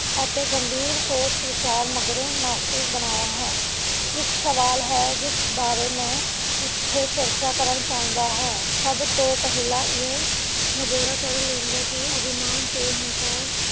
ਅਤੇ ਗੰਭੀਰ ਸੋਚ ਵਿਚਾਰ ਮਗਰੋਂ ਨਾਸਤਿਕ ਬਣਾਇਆ ਹੈ, ਇੱਕ ਸਵਾਲ ਹੈ, ਜਿਸ ਬਾਰੇ ਮੈਂ ਇੱਥੇ ਚਰਚਾ ਕਰਨਾ ਚਾਹੁੰਦਾ ਹਾਂ ਸਬਤੋਂ ਪਹਿਲਾਂ ਇਹ ਨਿਬੇੜਾ ਕਰ ਲੈਂਦੇ ਕਿ ਅਭਿਮਾਨ ਤੇ ਅਹਿੰਕਾਰ